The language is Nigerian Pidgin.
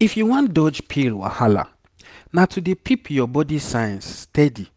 if you wan dodge pill wahala na to dey peep your body signs stady